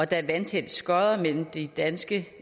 der er vandtætte skotter mellem de danske